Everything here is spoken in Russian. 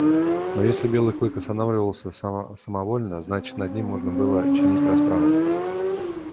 но если белый клык останавливался само самовольно значит над ним можно было чинить расправу